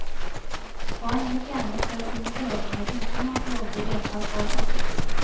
Barn ble fjernet fra sine foreldre uten at lovlig vedtak var fattet.